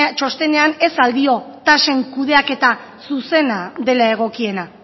txostenean ez al dio tasen kudeaketa zuzena dela egokiena